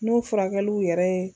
N'o furakɛliw yɛrɛ ye